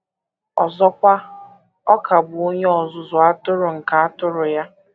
Ọzọkwa, ọ ka bụ Onye Ọzụzụ Atụrụ nke atụrụ ya.